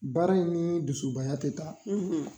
Baara in ni dusubaya ti taa